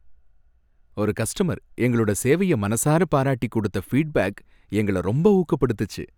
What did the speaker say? ஒரு கஸ்டமர் எங்களோட சேவைய மனசார பாராட்டி குடுத்த ஃபீட்பேக் எங்கள ரொம்ப ஊக்கப்படுத்திச்சு.